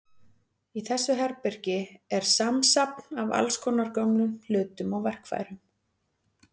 Í þessu herbergi er samsafn af allskonar gömlum hlutum og verkfærum.